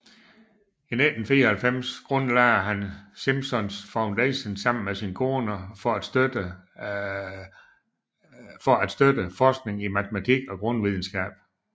I 1994 grundlagde han Simons Foundation sammen med sin kone for at støtte forsknig i matematik og grundvidenskab